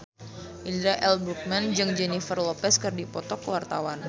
Indra L. Bruggman jeung Jennifer Lopez keur dipoto ku wartawan